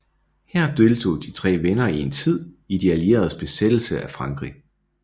Her deltog de tre venner en tid i de allieredes besættelsen af Frankrig